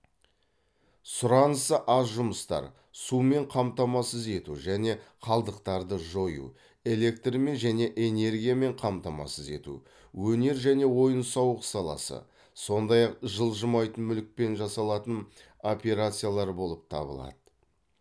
сұранысы аз жұмыстар сумен қамтамасыз ету және қалдықтарды жою электрмен және энергиямен қамтамасыз ету өнер және ойын сауық саласы сондай ақ жылжымайтын мүлікпен жасалатын операциялар болып табылады